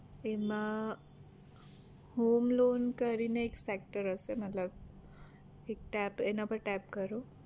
એમાં homeloan કરી ને એક sector હશે મતલબ એક tap એના પર tap કરો